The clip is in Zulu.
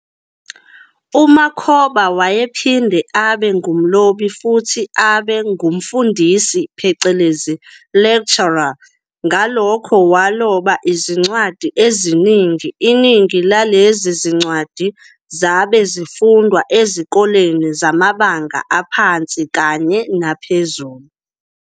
UMakhoba wayephinde abe ngumlobi futhi abe ngumfundisi phecelezi "lecturer", ngalokho waloba izincwadi ezingi iningi lalezi zincwadi zabe zifundwa ezikoleni zamabanga aphansi kanye naphezulu.